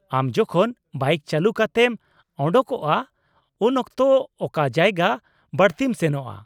-ᱟᱢ ᱡᱚᱠᱷᱚᱱ ᱵᱟᱭᱤᱠ ᱪᱟᱹᱞᱩ ᱠᱟᱛᱮᱢ ᱚᱰᱚᱠᱚᱜᱼᱟ, ᱩᱱᱚᱠᱛᱚ ᱚᱠᱟ ᱡᱟᱭᱜᱟ ᱵᱟᱹᱲᱛᱤᱢ ᱥᱮᱱᱚᱜᱼᱟ ?